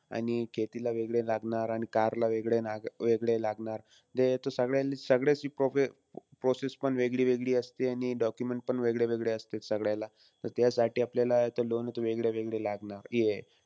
आणि खेतीला वेगळे लागणार आणि car वेगने वेगळे लागणार. हे तो सगळ्यांची pro process पण वेगळी-वेगळी असते आणि document पण वेगळे-वेगळे असते सगळ्याला. त त्यासाठी आपल्याला loan हे तो वेगळे-वेगळे लागणार.